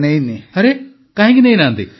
ପ୍ରଧାନମନ୍ତ୍ରୀ ଆରେ କାହିଁକି ନେଇନାହାନ୍ତି